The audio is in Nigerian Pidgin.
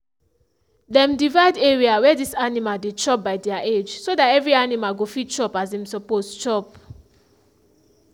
dem divide area where dis animal dey chop by their age so dat every animal go fit chop as im suppose chop.